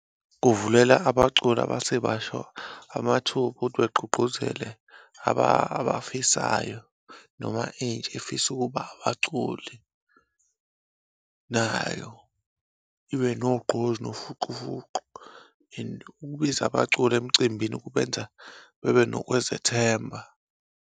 Kuvulela abaculi abasebasha amathuba okuthi begqugqquzele abafisayo noma intsha efisa ukuba abaculi nayo, ibe nogqozi nofuqufuqu and ukubiza abaculi emcimbini ukubenza bebe nokwezethemba.